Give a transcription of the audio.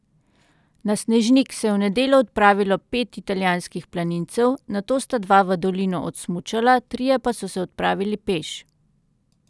Na Snežnik se je v nedeljo odpravilo pet italijanskih planincev, nato sta dva v dolino odsmučala, trije pa so se odpravili peš.